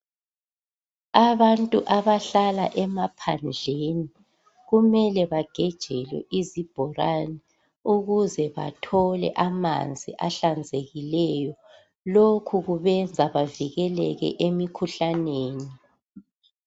abantu ahlala emaphanndleni kumele bagejelwe izibholane ukuze bethole amanzi ahlanzekileyo lokhu kubenza bavikeleke emikhuhlaneni